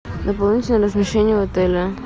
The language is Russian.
дополнительное размещение в отеле